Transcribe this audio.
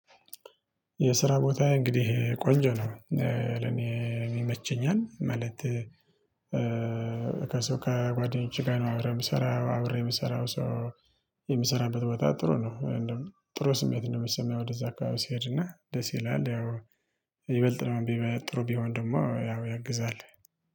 የስራ ቦታየ እንግዲህ ቆንጆ ነው ለኔም ይመቸኛል። ማለት ከሰው ከጓደኞችህ ጋር ነው አብሬ የምሰራው አብሬ የምሰራው ሰው የምሰራበት ቦታ ጥሩ ነው። እንደው ጥሩ ስሜት ነው የሚሰማኝ ወደዛ አካባቢ ሲሄድና ደስ ይላል። ያው ይበልጥ ደግሞ ጥሩ ቢሆን ደግሞ ያው ያግዛል